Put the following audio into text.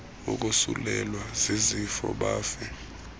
wokosulelwa zizifo bafe